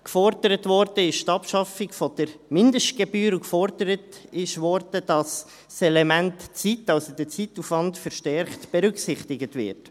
Gefordert wurde die Abschaffung der Mindestgebühr und gefordert wurde, dass das Element Zeit, also der Zeitaufwand, verstärkt berücksichtigt wird.